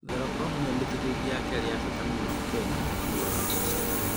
Thoroko nĩyo mĩtĩrĩri ya kelĩ ya bata mũno kenya thutha wa mboco